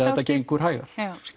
þetta gengur hægar